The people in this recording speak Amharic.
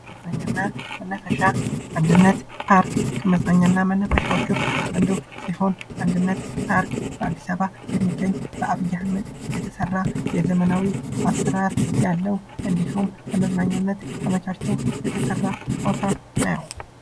መዝናኛና መናፈሻ አንድነትፓርክ ከመዝናኛና መነፈሻዎች ውስጥ አንዱ ሲሆን በአዲስ አበባ የሚገኝ በአብይ አህመድ የተሰራ የዘመናዊ አሰራር ያለው እንዲሁም ለመዝናኛነት ተመቻችቶ የተሰራ ቦታ ነው።